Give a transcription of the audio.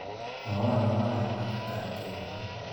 Mwawa akobo kabwatetab keny missing.